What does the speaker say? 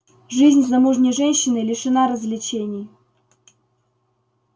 жизнь замужней женщины лишена развлечений